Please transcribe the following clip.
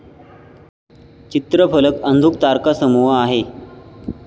चित्रफलक अंधुक तारकासमूह आहे.